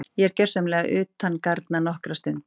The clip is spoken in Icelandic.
Ég er gjörsamlega utangarna nokkra stund.